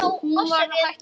Hún var hætt að brosa.